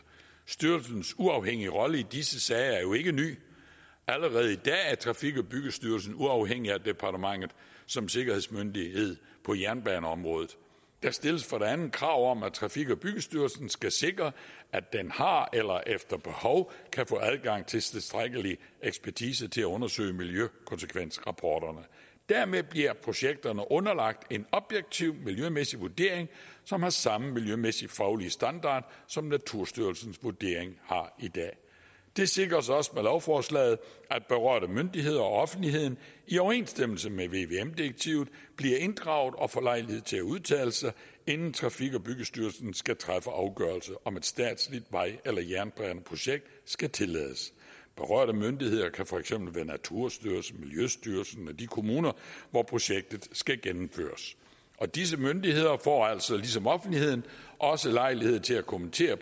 styrelsens uafhængige rolle i disse sager er jo ikke ny allerede i dag er trafik og byggestyrelsen uafhængig af departementet som sikkerhedsmyndighed på jernbaneområdet der stilles for det andet krav om at trafik og byggestyrelsen skal sikre at den har eller efter behov kan få adgang til tilstrækkelig ekspertise til at undersøge miljøkonsekvensrapporterne dermed bliver projekterne underlagt en objektiv miljømæssig vurdering som har samme miljømæssige faglige standard som naturstyrelsens vurdering har i dag det sikres også med lovforslaget at berørte myndigheder og offentligheden i overensstemmelse med vvm direktivet bliver inddraget og får lejlighed til at udtale sig inden trafik og byggestyrelsen skal træffe afgørelse om et statsligt vej eller jernbaneprojekt skal tillades berørte myndigheder kan for eksempel være naturstyrelsen miljøstyrelsen og de kommuner hvor projektet skal gennemføres og disse myndigheder får altså ligesom offentligheden også lejlighed til at kommentere